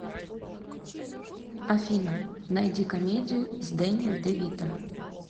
афина найди комедию с дэнни девито